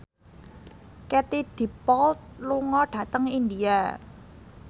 Katie Dippold lunga dhateng India